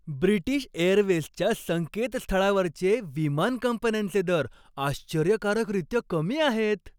British एअरवेजच्या संकेतस्थळावरचे विमान कंपन्यांचे दर आश्चर्यकारकरीत्या कमी आहेत.